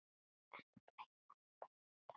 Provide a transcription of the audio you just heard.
En fleira er fram undan.